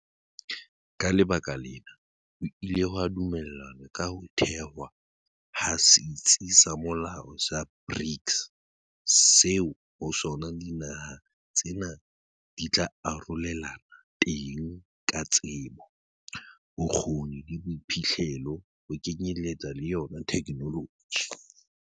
Ka lebaka lena, ho ile ha dumellanwa ka ho thehwa ha setsi se molaong sa BRICS seo ho sona dinaha tsena di tla arorelanang teng ka tsebo, bokgoni le boiphihlelo ho kenyeletsa le yona thekenoloji.